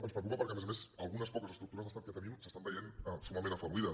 ens preocupa perquè a més a més algunes poques estructures d’estat que tenim s’estan veient summament afeblides